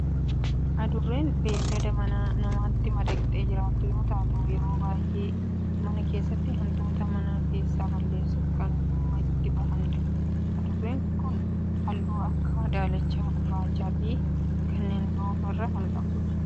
Adurreen beellada manaa namatti madaqtee jiraattu yoo taatu yeroo baayyee mana keessatti hantuuta mana keessaa balleessuuf kan dhimma itti bahaanidha. Adurreen tun halluu akka daalacha, gurraachaa fi kanneen biroo of irraa qabdi.